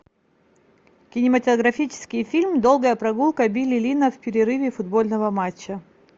кинематографический фильм долгая прогулка билли линна в перерыве футбольного матча